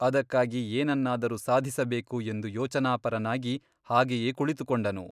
ಅದಕ್ಕಾಗಿ ಏನನ್ನಾದರೂ ಸಾಧಿಸಬೇಕು ಎಂದು ಯೋಚನಾಪರನಾಗಿ ಹಾಗೆಯೇ ಕುಳಿತುಕೊಂಡನು.